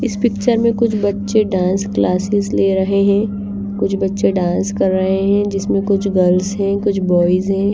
इस पिक्चर में कुछ बच्चे डांस क्लासेस ले रहे हैं कुछ बच्चे डांस कर रहे हैं जिसमें कुछ गर्ल्स हैं कुछ बॉयज हैं।